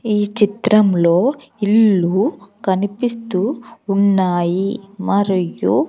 ఈ చిత్రంలో ఇల్లు కనిపిస్తూ ఉన్నాయి మరియు--